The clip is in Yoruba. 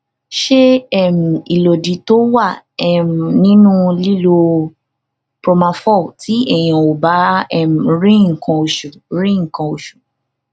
se um ilodi to was um ninu lilo profamol ti eniyan o um ba ri nkan osu ri nkan osu